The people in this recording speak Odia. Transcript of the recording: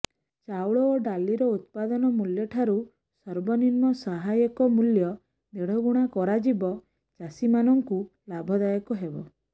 ଚାଉଳ ଓ ଡାଲିର ଉତ୍ପାଦନ ମୂଲ୍ୟ ଠାରୁ ସର୍ବନିମ୍ନ ସହାୟକ ମୂଲ୍ୟ ଦେଢଗୁଣା କରାଯିବା ଚାଷୀମାନଙ୍କୁ ଲାଭଦାୟକ ହେବ